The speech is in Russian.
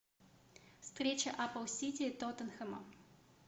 встреча апл сити и тоттенхэма